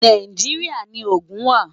Nàìjíríà ni Ogun wà.